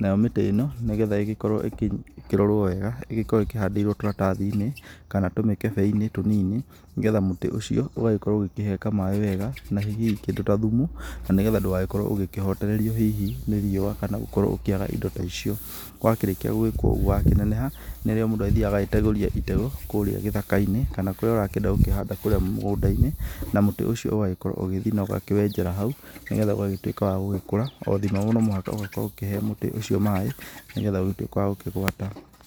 nayo mĩtĩ ĩno nĩgetha ĩgĩkorwo ĩkĩrorwo wega ĩkoragwo ĩkĩhandĩirwo tũratathi-inĩ kana tũmĩkebe-inĩ tũnini, nĩgetha mũtĩ ũcio ũgagĩkorwo ũkĩheka maaĩ wega na hihi kĩndũ ta thumu, nĩgetha ndũgakorwo ũgĩkĩhotererio hihi nĩ riũa kana gũkorwo gũkĩaga indo ta icio. Wa kĩrĩkia gwĩkwo ũguo wakĩneneha, nĩguo mũndũ agĩthiaga agategũria itegũ kũrĩa gĩthaka-inĩ, kana kũrĩa ũrakĩenda gũkĩhanda kũrĩa mũgũnda-inĩ. Na mũtĩ ũcio ũgagikorwo ũgĩthiĩ na ũkawenjera hau, nĩgetha ũgagĩtuĩka wa gũgĩkũra, o thima no mũhaka ũgĩkorwo ũkĩhe mũtĩ ũcio maaĩ, nĩgetha ũgĩtuĩke wa gũkĩgwata.